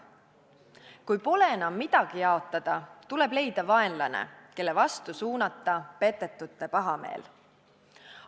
Kui pole enam midagi jaotada, tuleb leida vaenlane, kelle vastu suunata petetute pahameel.